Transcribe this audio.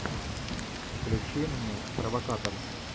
включи мне провокатор